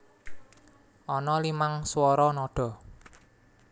Ana limang swara nada